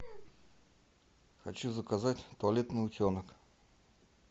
хочу заказать туалетный утенок